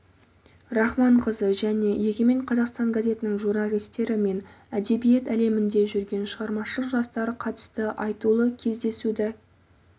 рахманқызы және егемен қазақстан газетінің журналистері мен әдебиет әлемінде жүрген шығармашыл жастар қатысты айтулы кездесуді